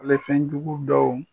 Ale fɛnjugu dɔw